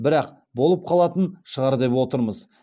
бірақ болып қалатын шығар деп отырмыз